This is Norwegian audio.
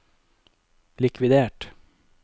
likvidert